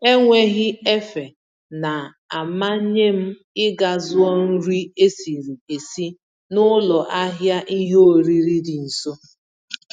Enweghị-efe na amanyem ịga zụọ nri esiri esi n'ụlọ ahịa ìhè oriri dị nso.